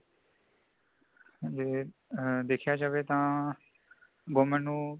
ਜੈ ਦੇਖਿਆਂ ਜਾਵੇਂ ਤਾਂ government ਨੂੰ